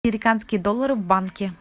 американские доллары в банке